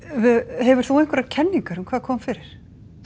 hefur þú einhverjar kenningar um hvað kom fyrir